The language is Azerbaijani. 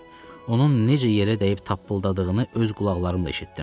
Onun necə yerə dəyib tappıldadığını öz qulaqlarımla eşitdim.